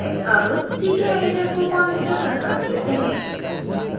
अब ckeditor को configure करना सीखते हैं